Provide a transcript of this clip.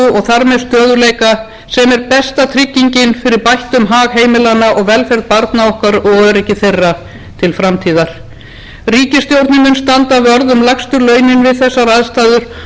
með stöðugleika sem er besta tryggingin fyrir bættum hag heimilanna velferð barna okkar og öryggi þeirra til framtíðar ríkisstjórnin mun standa vörð um lægstu launin við þessar aðstæður og tryggja velferð þeirra sem lakast